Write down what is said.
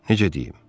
Necə deyim?